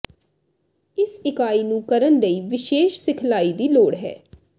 ਇਸ ਇਕਾਈ ਨੂੰ ਕਰਨ ਲਈ ਵਿਸ਼ੇਸ਼ ਸਿਖਲਾਈ ਦੀ ਲੋੜ ਹੈ